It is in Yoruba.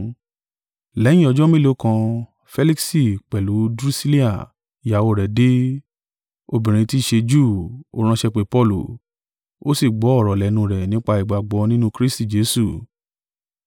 Lẹ́yìn ọjọ́ mélòó kan Feliksi pẹ̀lú Drusilla ìyàwó rẹ̀ dé, obìnrin tí í ṣe Júù. Ó ránṣẹ́ pé Paulu, ó sì gbọ́ ọ̀rọ̀ lẹ́nu rẹ̀ nípa ìgbàgbọ́ nínú Kristi Jesu.